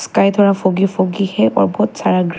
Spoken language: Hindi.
स्काई द्वारा फुगी फुगी है और बहोत सारा--